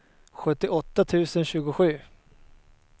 sjuttioåtta tusen tjugosju